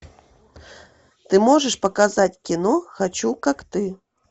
ты можешь показать кино хочу как ты